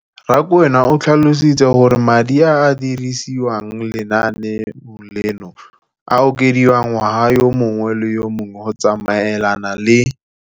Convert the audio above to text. Rakwena o tlhalositse gore madi a a dirisediwang lenaane leno a okediwa ngwaga yo mongwe le yo mongwe go tsamaelana le